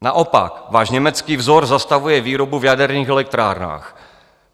Naopak váš německý vzor zastavuje výrobu v jaderných elektrárnách.